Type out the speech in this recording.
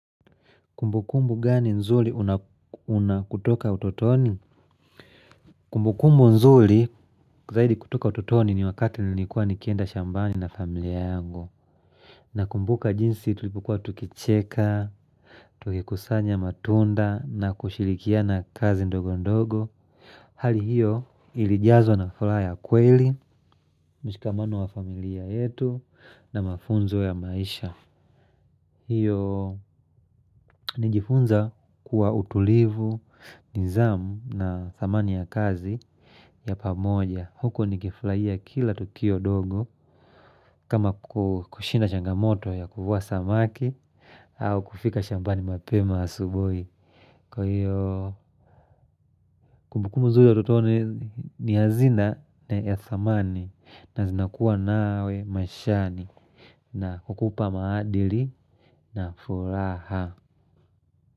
Kumbu kumbu gani nzuri unakutoka utotoni? Kumbu kumbu nzuri kuzahidi kutoka utotoni ni wakati nilikuwa nikienda shambani na familia yango. Na kumbuka jinsi tulipukua tukicheka, tukikusanya matunda na kushilikia na kazi ndogo ndogo. Hali hiyo ilijazo na furaha ya kweli, mshikamano wa familia yetu na mafunzo ya maisha. Hiyo ni jifunza kuwa utulivu, nizamu na thamani ya kazi ya pamoja. Huko ni kifurahiya kila tukio dogo kama kushinda changamoto ya kuvua samaki au kufika shambani mapema asubuhi. Kwa hiyo kumbukumbu zuja tuto ni hazina ya thamani na zinakuwa nawe mashani na kukupa maadili na furaha.